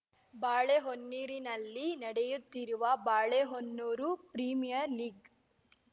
ಬಾಳೆಹೊನ್ನೂರಿನಲ್ಲಿ ನಡೆಯುತ್ತಿರುವ Balehonnur premier league